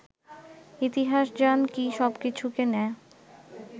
ইতিহাসযান কি সবকিছুকে নেয়